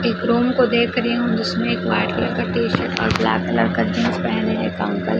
एक रूम को देख रही हूँ जिसमें एक व्हाइट कलर का टी शर्ट और ब्लैक कलर का जीन्स पेहने एक अंकल --